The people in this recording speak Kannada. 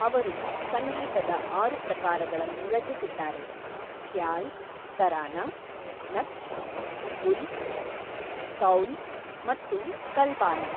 ಅವರು ಸಂಗೀತದ ಆರು ಪ್ರಕಾರಗಳನ್ನು ರಚಿಸಿದ್ದಾರೆಃ ಖ್ಯಾಲ್, ತರಾನಾ, ನಕ್ಶ್, ಗುಲ್, ಕೌಲ್ ಮತ್ತು ಕಲ್ಬಾನಾ.